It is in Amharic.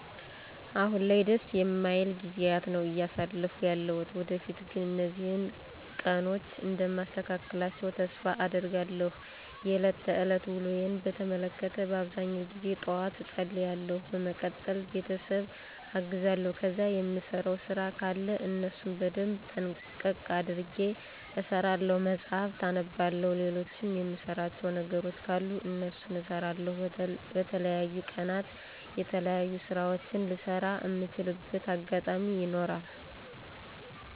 አሁን ላይ ደስ የማይል ጊዜያት ነው አያሳለፍኩ ያለሁት። ወደፊት ግን እነዚህን ቀኖች እንደማስተካክላቸው ተስፋ አደርጋለሁ። የለት ተለት ውሎየን በተመለከተ በአብዛኛው ጊዜ ጠዋት እፀልያለሁ በመቀጠል ቤተሰብ አግዛለሁ ከዛ የምሰራው ስራ ከለ እነሱን በደንብ ጥንቅቅ አድርጌ እሰራለሁ፣ መጽሀፍት አነባለሁ፣ ልሎችም የምሰራቸው ነገሮች ካሉ እነሱን እሰራለሁ። በተለያዩ ቀናት የተለያዩ ስራወችን ልሰራ እምችልበት አጋጣሚ ይኖራል።